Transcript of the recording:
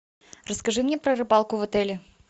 расскажи мне про рыбалку в отеле